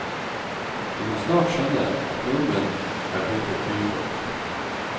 Vi må snart skjønne at nordmenn er blitt et byfolk.